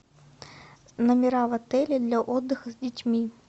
номера в отеле для отдыха с детьми